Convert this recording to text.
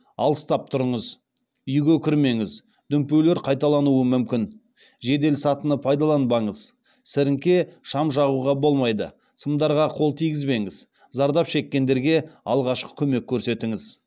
алыстап тұрыңыз үйге кірмеңіз дүмпулер қайталануы мүмкін жеделсатыны пайдаланбаңыз сіріңке шам жағуға болмайды сымдарға қол тигізбеңіз зардап шеккендерге алғашқы көмек көрсетіңіз